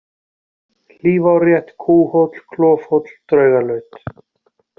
Hlífárrétt, Kúhóll, Klofhóll, Draugalaut